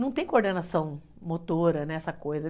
Não tem coordenação motora nessa coisa.